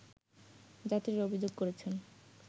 যাত্রীরা অভিযোগ করেছেন